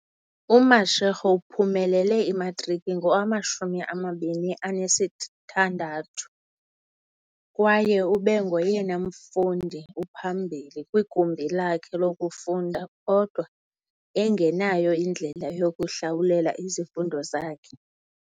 UMashego uphumelele imatriki ngowama-2016 kwaye ube ngoyena mfundi uphambili kwigumbi lakhe lokufunda, kodwa engenayo indlela yokuhlawulela izifundo zakhe.